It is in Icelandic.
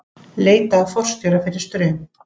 Leita að forstjóra fyrir Straum